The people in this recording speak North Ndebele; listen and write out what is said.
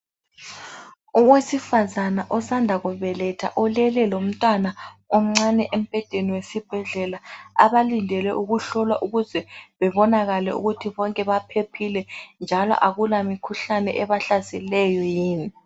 Owesifazana sanda kubetha ulele lomntwana oncane embhedeni wesibhedlela. Abalindele ukuhlolwa ukuze bebonakale ukuthi bonke baphephile, njalo akula mikhuhlane ebahlaselayo yini.